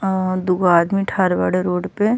अ दूगो आदमी ठार बाड़े रोड पे --